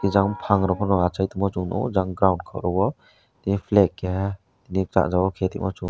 jang phangrok phono achaitongmo chung nukgo jang ground khoro o tei flag keha tini kanjongma khetongno chung.